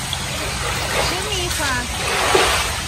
шумиха